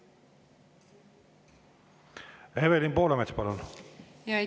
Evelin Poolamets, palun!